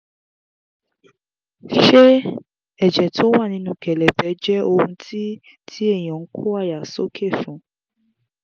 ṣé ẹ̀jẹ̀ tó wà nínú kelebe jẹ́ ohun ti ti eyan n ko aya soke fun?